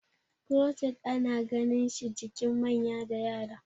crochet ana ganinshi jikin manya da Yara